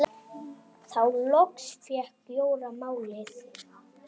Þá loks fékk Jóra málið.